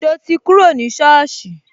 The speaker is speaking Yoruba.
So ti kúrò ní soosi